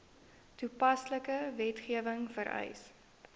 toepaslike wetgewing vereis